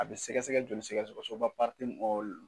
A be sɛgɛsɛgɛ joli sɛgɛ soba min ɔ na